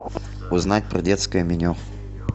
узнать про детское меню